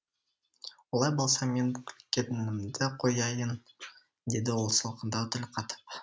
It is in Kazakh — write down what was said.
олай болса мен күлгенімді қояйын деді ол салқындау тіл қатып